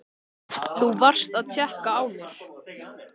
Þú varst að tékka á mér!